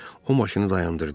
O maşını dayandırdı.